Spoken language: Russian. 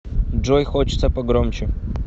джой хочется погромче